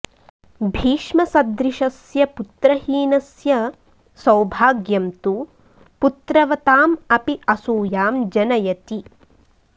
भीष्मसदृशस्य पुत्रहीनस्य सौभाग्यं तु पुत्रवताम् अपि असूयां जनयति